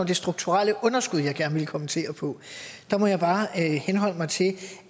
det strukturelle underskud jeg gerne ville kommentere på der må jeg bare henholde mig til